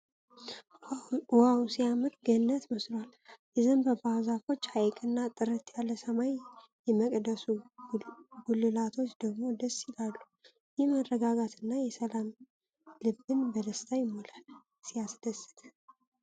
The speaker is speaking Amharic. ዋው ሲያምር! ገነት መስሏል! የዘንባባ ዛፎች፣ ሐይቅ እና ጥርት ያለ ሰማይ! የመቅደሱ ጉልላቶች ደግሞ ደስ ይላሉ። ይህ መረጋጋት እና ሰላም ልብን በደስታ ይሞላል። ሲያስደስት!